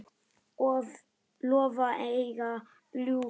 Lofa eða ljúga?